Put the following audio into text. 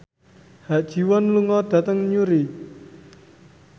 Ha Ji Won lunga dhateng Newry